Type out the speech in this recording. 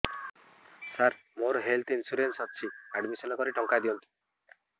ସାର ମୋର health insurance ଅଛି admission କରି ଟଙ୍କା ଦିଅନ୍ତୁ